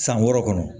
San wɔɔrɔ kɔnɔ